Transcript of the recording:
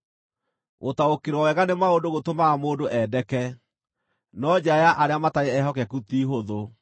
Gũtaũkĩrwo wega nĩ maũndũ gũtũmaga mũndũ endeke, no njĩra ya arĩa matarĩ ehokeku ti hũthũ.